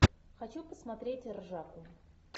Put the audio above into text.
хочу посмотреть ржаку